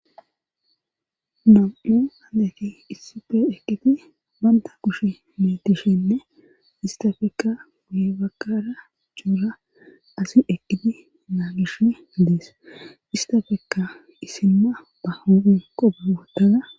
Nam'u handeti issippe eqiti banta kushe meetishenne istafekka guye bagkara cuura asi eqqidi naa gishe adees istafekka isimma ba hoin kobe gotada.